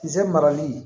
Ze marali